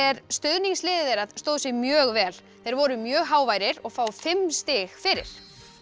stuðningsliðið þeirra stóð sig mjög vel þeir voru mjög háværir og fá fimm stig fyrir